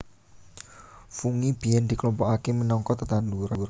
Fungi biyèn diklompokaké minangka tetanduran